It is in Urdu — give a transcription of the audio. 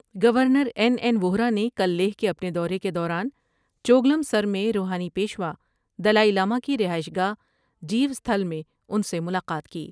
گورنر این این ووہرا نے کل لیہہ کے اپنے دورے کے دوران چوگلم سر میں روحانی پیشوا دلائی لامہ کی رہائش گاہ جیو ستهل میں ان سے ملاقات کی ۔